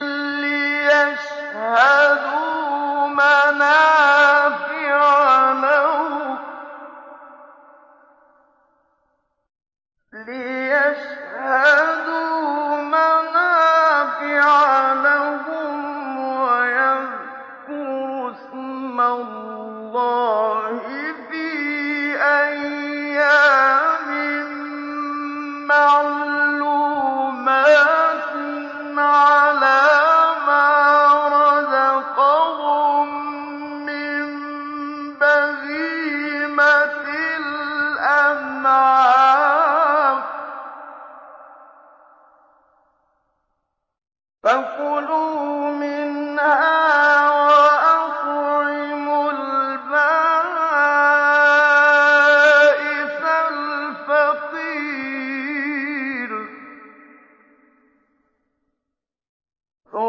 لِّيَشْهَدُوا مَنَافِعَ لَهُمْ وَيَذْكُرُوا اسْمَ اللَّهِ فِي أَيَّامٍ مَّعْلُومَاتٍ عَلَىٰ مَا رَزَقَهُم مِّن بَهِيمَةِ الْأَنْعَامِ ۖ فَكُلُوا مِنْهَا وَأَطْعِمُوا الْبَائِسَ الْفَقِيرَ